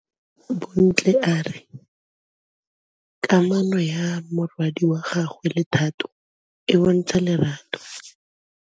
Bontle a re kamanô ya morwadi wa gagwe le Thato e bontsha lerato.